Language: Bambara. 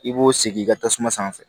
I b'o sigi i ka tasuma sanfɛ